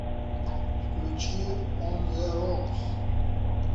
включи он зе рокс